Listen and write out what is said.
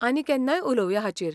आनी केन्नाय उलोवया हाचेर.